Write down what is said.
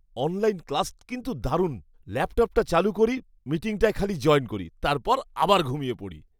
Online class কিন্তু দারুণ। ল্যাপটপটা চালু করি, মিটিংটায় খালি জয়েন করি, তারপর আবার ঘুমিয়ে পড়ি।